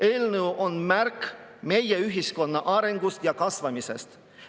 Eelnõu on märk meie ühiskonna arengust ja kasvamisest.